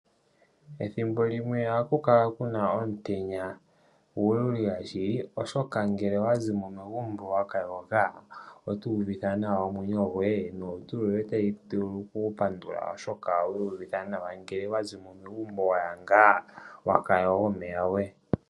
Ethimbo limwe ohaku kala kuna omutenya omululila shili, oshoka ngele owazi mo megumbo waka yoga otu uvitha naw a omwenyo goye nolutu lu vule okupandula oshoka owii yuvitha nawa oshoka ngele wa zi mo megumbo waya ngaa waka yoga omeya goye.